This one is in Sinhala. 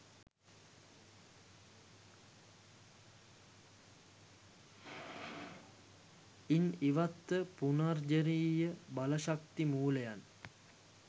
ඉන් ඉවත්ව පුනර්ජනනීය බල ශක්ති මූලයන්